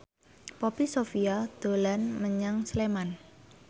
Poppy Sovia dolan menyang Sleman